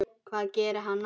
Hvað gerir hann næst?